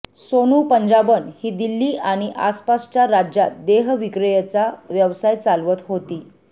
सोनू पंजाबन ही दिल्ली आणि आसपासच्या राज्यात देहविक्रेयचा व्यवसाय चालवत होती